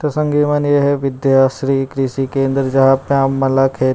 तो संगी मन ये है विद्या श्री कृषि केंद्र जहाँ पे आप मन ल खेत --